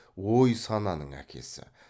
ой сананың әкесі